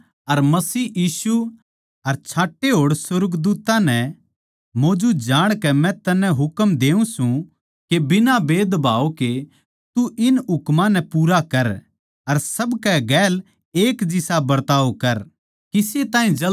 परमेसवर अर मसीह यीशु अर छांटे होड़ सुर्गदूत्तां नै मौजूद जाणकै मै तन्नै हुकम देऊँ सूं के बिना भेदभाव के तू इन हुकमां नै पूरा कर अर सब कै गेल एक जिसा बरताव कर